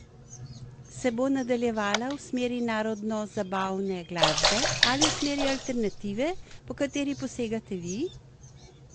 Se bo nadaljevala v smeri narodnozabavne glasbe ali v smeri alternative, po kateri posegate vi?